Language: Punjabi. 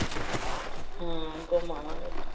ਹਮ ਘੁੰਮ ਆਵਾਂਗੇ।